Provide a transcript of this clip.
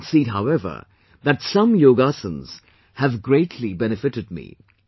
I do concede however, that some yogaasanaas have greatly benefited me